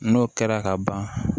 N'o kɛra ka ban